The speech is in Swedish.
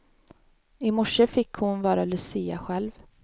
I morse fick hon vara lucia själv.